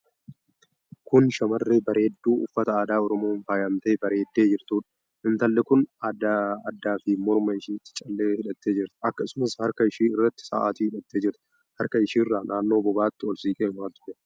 Kun shamarree bareeddu uffata aadaa Oromoon faayamtee bareeddee jirtuudha. Intalli kun adda fi morma isheetti callee hidhattee jirti. Akkasumas harka ishee irratti sa'aatii hidhattee jirti. Harka isheerra naannoo bobaatti ol siqee maaltu jira?